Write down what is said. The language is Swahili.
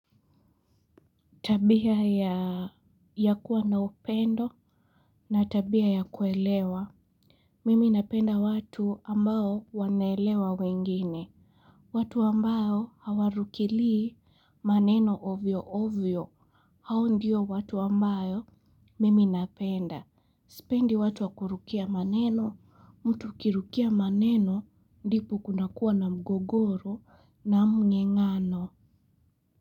Tabia ya kuwa na upendo na tabia ya kuelewa. Mimi napenda watu ambao wanaelewa wengine. Watu ambao hawarukilii maneno ovyo ovyo hao ndiyo watu ambayo mimi napenda. Sipendi watu wakurukia maneno, mtu ukirukia maneno, ndipo kunakua na mgogoro na mngengano.